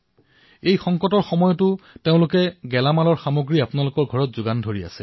এওঁলোকে এই কঠিন সময়তো গেলামালৰ সামগ্ৰী যোগান ধৰি আছে